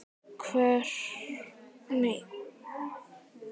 Krefur vetur sagna.